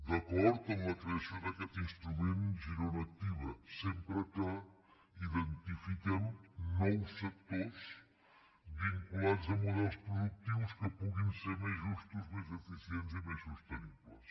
d’acord amb la creació d’aquests instrument girona activa sempre que identifiquem nous sectors vinculats a models productius que puguin ser més justos més eficients i més sostenibles